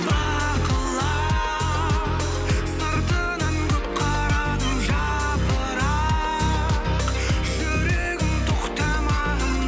бақылап сыртынан көп қарадым жапырақ жүрегім тоқтамағын